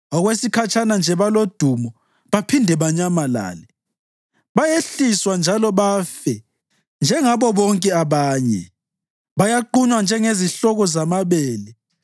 Okwesikhatshana nje balodumo, baphinde banyamalale; bayehliswa njalo bafe njengabo bonke abanye; bayaqunywa njengezihloko zamabele.